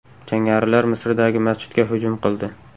Jangarilar Misrdagi masjidga hujum qildi.